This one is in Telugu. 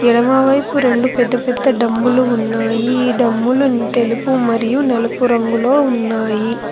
ఎడమవైపు రెండు పెద్ద పెద్ద డమ్ములు ఉన్నాయి డమ్మును తెలుగు మరియు నలుపు రంగులో ఉన్నాయి.